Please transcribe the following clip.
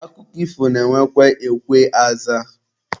Akụkọ ifo na-enwekwa ekwe azaa.